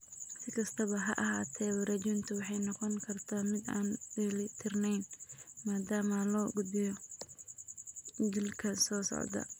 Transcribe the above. Si kastaba ha ahaatee, wareejintu waxay noqon kartaa mid aan dheeli tirnayn maadaama loo gudbiyo jiilka soo socda.